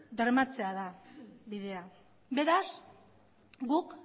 bermatzea da bidea beraz guk